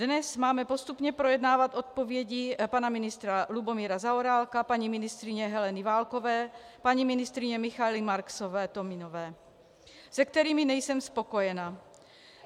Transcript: Dnes máme postupně projednávat odpovědi pana ministra Lubomíra Zaorálka, paní ministryně Heleny Válkové, paní ministryně Michaely Marksové-Tominové, se kterými nejsem spokojena.